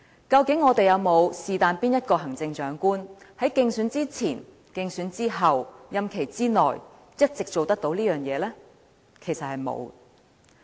究竟我們是否有任何一位行政長官在競選之前、競選之後、任期之內，一直做得到這件事呢？